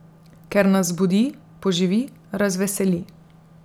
Ker nas zbudi, poživi, razveseli.